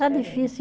Está difícil.